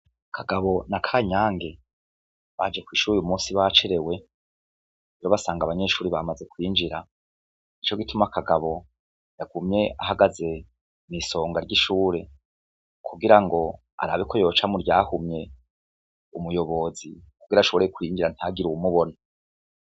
Kagabo na Kanyange baje kw'ishure uyu munsi bacerewe, basanga abanyeshure bamaze kwinjira, nicogituma kagabo yagumye ahagaze kw'isonga ry'ishure, kugirango arabe ko yoca muryahumye umuyobozi kugira ashobore kwinjira ntihagire uwumubona.